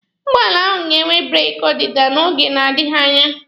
Ụgbọala ahụ ga-enwe breeki ọdịda n'oge na-adịghi anya.